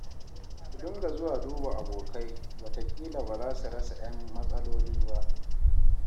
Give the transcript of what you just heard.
Ku dinga zuwa duba abokai wataƙila ba za su rasa 'yan matsaloli ba